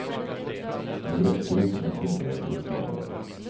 Nu räcker det inte med fingeravtryck längre.